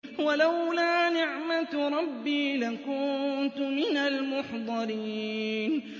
وَلَوْلَا نِعْمَةُ رَبِّي لَكُنتُ مِنَ الْمُحْضَرِينَ